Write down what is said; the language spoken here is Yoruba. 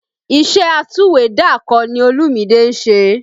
Iṣẹ́ atúwèédàkọ ni Olúmide ń ṣe